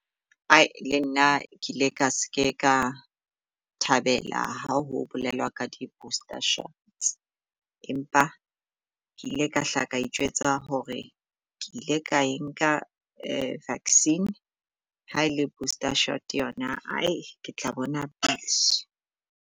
Ae le nna ke ile ka se ke ka thabela ha ho bolelwa ka di-booster shot empa ke ile ka hla ka ijwetsa hore ke ile ka enka vaccine, ha ele booster shot yona hai ke tla bona pele.